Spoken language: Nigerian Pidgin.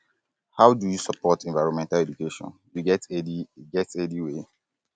how you dey support environmental education you get any get any way